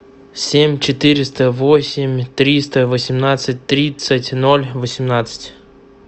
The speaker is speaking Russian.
семь четыреста восемь триста восемнадцать тридцать ноль восемнадцать